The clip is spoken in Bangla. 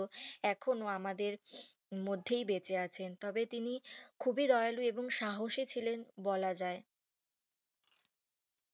এখনো আমাদের মধ্যে বেঁচে আছেন তবে তিনি খুবই দয়ালু এবং সাহসী ছিলেন বলা যাই